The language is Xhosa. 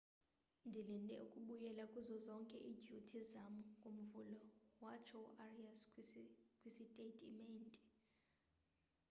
ndilinde ukubuyela kuzo zonke idyuti zam ngomvulo, :watsho uarias kwisitatementi